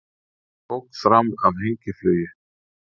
Ók fram af hengiflugi